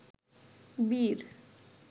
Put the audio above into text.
বীর